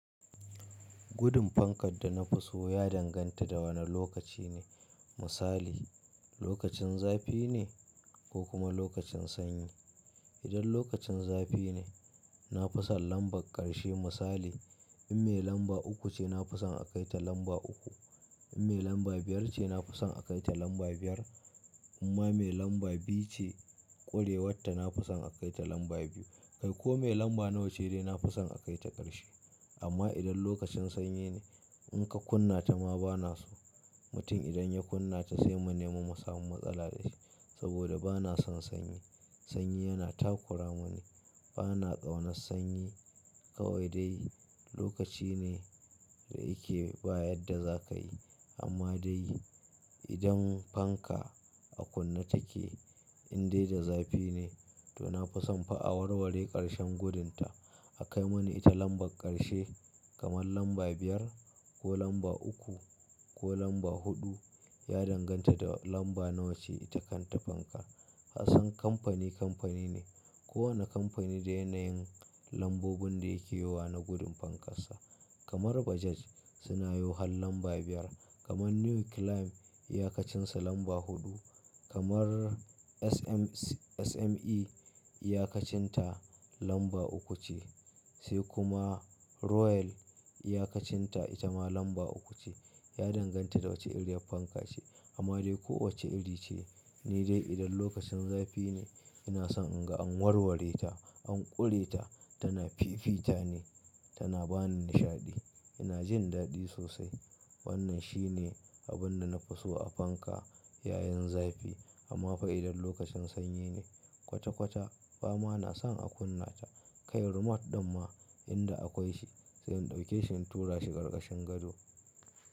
Gudun fankad da na fi so ya danganta da wane lokaci ne. Misali lokacin zafi ne ko kuma lokacin sanyi. Idan lokacin zafi ne, na fi son lambar karshe. Misali in mai lamba uku ce, na fi son a kai ta lamba uku. In mai lamba biyar ce, na fi son a kai ta lamba biyar. Amma mai lamba biyu ce, ƙurewarta na fi son a kai ta lamba biyu. Kai ko mai lamba nawa ce dai na fi son a kai ta ƙarshe. Amma idan lokacin sanyi ne, in ka kunna ta ma bana so. Mutum idan ya kunna ta sai mu nema mu samu matsala da shi. Saboda bana son sanyi. Sanyi yana takura mu ni. Bana ƙaunar sanyi. Kawai dai lokaci ne da yake ba yadda za ka yi. Amma dai idan fanka a kunne take, in dai da zafi ne, to na fi son fa a warware ƙarshen gudunta. A kai mani ita lambar ƙarshe kamar lamba biyar ko lamba uku ko lamba huɗu. Ya danganta da lamba nawa ce ita kanta fankar. Kasan kamfani kamfani ne. Kowane kamfani da yanayin lambobin da yake yowa na gudun fankarsa. Kamar Bajaj suna yo har lamba biyar. Kamar New Clime iyakacinsa lamba huɗu. Kamar SME iyakacin ta lamba uku ce. Sai kuma Royal iyakacin ta ita ma lamba uku ce. Ya danganta da wace irin fanka ce. Amma dai ko wace iri ce, ni dai idan lokacin zafi ne ina son in ga an warware ta, an ƙure ta. Tana fifita ne, tana ba ni nishaɗi. Ina jin daɗi sosai. Wannan shi ne abin da na fi so a fanka yayin zafi. Amma fa idan lokacin sanyi ne kwata kwata ba ma na son a kunna ta. Kai remote ɗin ma inda akwai shi, sai in ɗauke shi in tura shi ƙarƙashin gado.